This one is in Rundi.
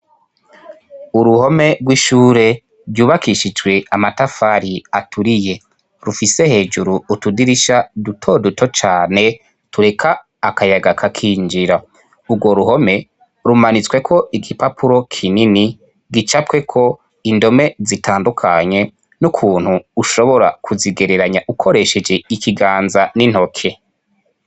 Uruhome rw'ishure ryubakishijwe amatafari aturiye rufise hejuru utudirisha dutoduto cane tureka akayaga kakinjira. Ubwo ruhome rumanitswe ko igipapuro kinini gicapwe ko indome zitandukanye n'ukuntu ushobora kuzigereranya ukoresheje ikiganza n'intoke.